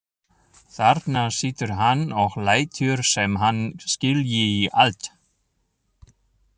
Þarna situr hann og lætur sem hann skilji allt.